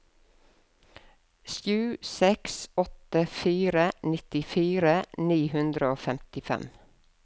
sju seks åtte fire nittifire ni hundre og femtifem